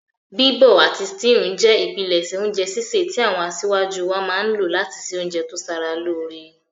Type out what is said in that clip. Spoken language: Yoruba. Bíbọ̀ àti stewing je ìpinlẹ̀sẹ̀ ounje sísẹ̀ ti àwon asájú wáa má n lo láti se ounje to sara lóre